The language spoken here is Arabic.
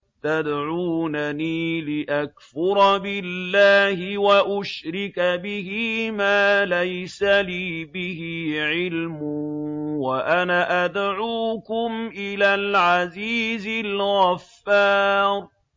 تَدْعُونَنِي لِأَكْفُرَ بِاللَّهِ وَأُشْرِكَ بِهِ مَا لَيْسَ لِي بِهِ عِلْمٌ وَأَنَا أَدْعُوكُمْ إِلَى الْعَزِيزِ الْغَفَّارِ